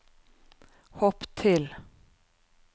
hopp til